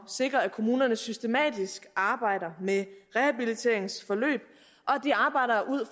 sikre at kommunerne systematisk arbejder med rehabiliteringsforløb